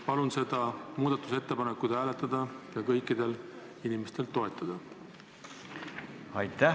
Palun seda muudatusettepanekut hääletada ja kõikidel inimestel toetada!